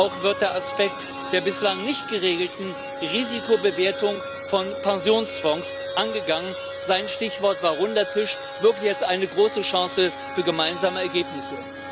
Auch wird der Aspekt der bislang nicht geregelten Risikobewertung von Pensionsfonds angegangen sein Stichwort war Runder Tisch, wirklich als eine große Chance für gemeinsame Ergebnisse.